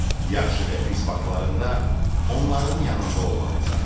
Yaxşı və pis vaxtlarında onların yanında olmalısan.